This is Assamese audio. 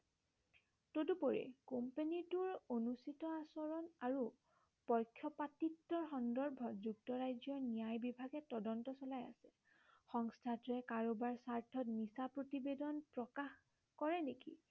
তদুপৰি কোম্পেনীটোৰ টোৰ অনুচিত আচৰণ আৰু পক্ষপাতিত্বৰ সন্দৰ্ভত যুক্তৰাজ্য়ৰ ন্য়ায় বিভাগে তদন্ত চলাই আছে। সংস্থাটোৱে কাৰোবাৰ স্বাৰ্থত মিছা প্ৰতিবেদন প্ৰকাশ কৰে নেকি